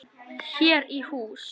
Hér í hús